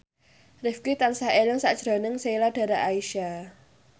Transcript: Rifqi tansah eling sakjroning Sheila Dara Aisha